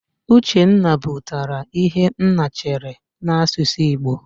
Uchenna pụtara "Ihe nna chere" n'asụsụ Igbo.